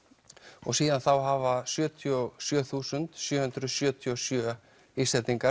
og síðan þá hafa sjötíu og sjö þúsund sjö hundruð sjötíu og sjö Íslendingar